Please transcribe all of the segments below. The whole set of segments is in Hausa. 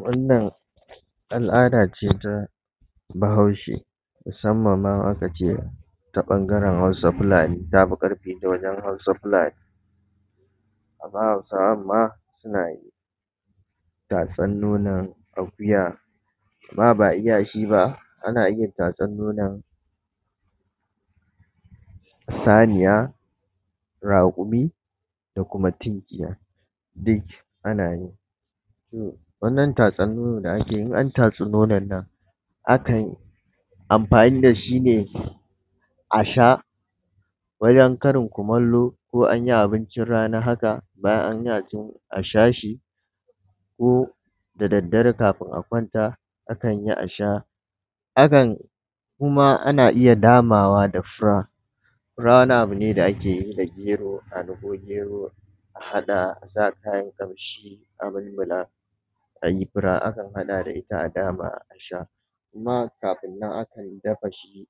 Wannan al’ada ce ta Bahaushe, musamman ma in aka ce ta ɓangaren Hausa-Fulani ta fi ƙarfi ta wajen Hausa-Fulani. Amma Hausawan ma suna yi, tatsar nonon akuya, ba ma iya shi ba, ana iya tatsar nonon saniya, raƙumi da kuma tunkiya, duk ana yi. To wannan tatsar nono da ake yi, in an tatsi nonon nan, akan yi amfani da shi ne a sha wajen karin kumallo, ko an yi abincin rana haka, bayan an ci, a sha shi ko da daddare kafin a kwanta akan iya a sha. Akan kuma ana iya damawa da fura. Fura wani abu ne da ake dagero, a niƙo gero a haɗa, a sa kayan ƙamshi a mulmula, a yi fura, akan haɗa da ita a dama a sha, kuma kafin nan, akan dafa shi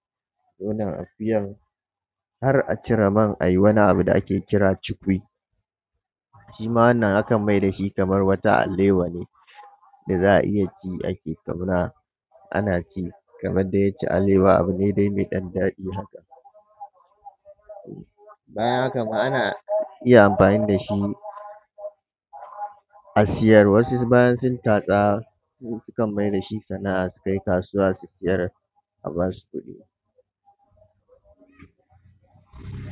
nonon akuyar har a cire man, a yi wani abu da ake kira chukwi. Shi ma wannan akan mai da shi kamar wata alewa ne da za a iya ci ake tauna, ana ci kamar dai yadda yake alewa abu ne dai mai ɗan daɗi haka. To bayan haka ma, ana iya amfani da shi a siyar. Wasu bayan sun tatsa, su sukan mai da shi sana’a su tai kasuwa su sayar, a ba su kuɗi.